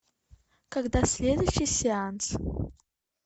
когда следующий сеанс